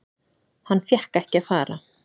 Hann fékk ekki að fara.